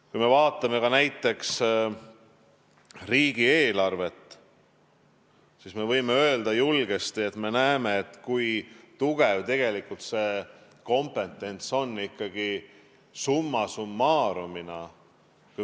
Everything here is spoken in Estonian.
Kui me vaatame näiteks riigieelarvet, siis me võime julgesti öelda, et me näeme, kui tugev tegelikult see kompetents ikkagi summa summarum on.